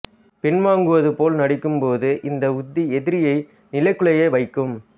பின்வாங்குவது போல் நடிக்கும் போது இந்த உத்தி எதிரியை நிலைகுலைய வைக்கும்